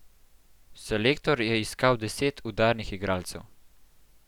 Selektor je iskal deset udarnih igralcev.